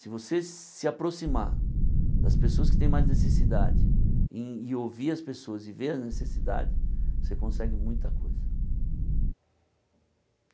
Se você se aproximar das pessoas que têm mais necessidade em e ouvir as pessoas e ver a necessidade, você consegue muita coisa.